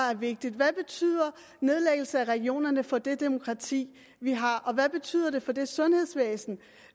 er vigtigt hvad betyder nedlæggelse af regionerne for det demokrati vi har hvad betyder det for det sundhedsvæsen